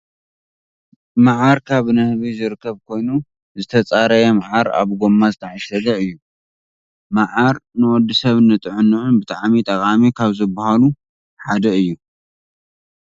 ማዓር ካብ ንህቢ ዝርከብ ኮይኑ ዝተፃረየ ማዓር ኣብ ጎማ ዝተዓሸገ እዩ። ማዓር ንወዲ ስብ ንጥዕኑኡ ብጣዕሚ ጠቃሚ ካብ ዝባሃሉ ሓደ እዩ ።